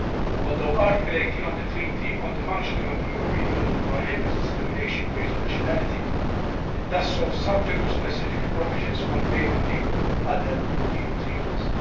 Although Article 18 of the Treaty on the Functioning of the European Union prohibits discrimination based on nationality, it does so subject to specific provisions contained in the other EU treaties.